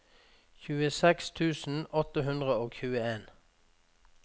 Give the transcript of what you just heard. tjueseks tusen åtte hundre og tjueen